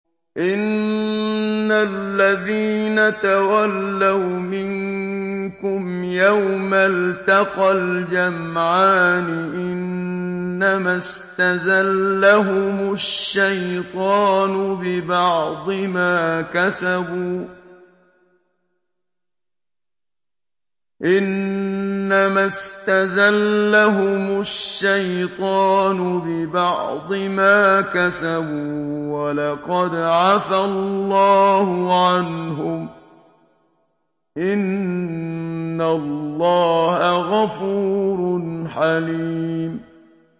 إِنَّ الَّذِينَ تَوَلَّوْا مِنكُمْ يَوْمَ الْتَقَى الْجَمْعَانِ إِنَّمَا اسْتَزَلَّهُمُ الشَّيْطَانُ بِبَعْضِ مَا كَسَبُوا ۖ وَلَقَدْ عَفَا اللَّهُ عَنْهُمْ ۗ إِنَّ اللَّهَ غَفُورٌ حَلِيمٌ